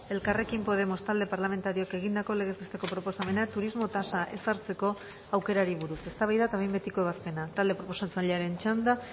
elkarrekin podemos talde parlamentarioak egindako legez besteko proposamena turismo tasa ezartzeko aukerari buruz eztabaida eta behin betiko ebazpena talde proposatzailearen txanda